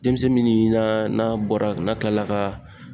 Denmisɛnnin min ni na n'a bɔra n'a kilal'a ka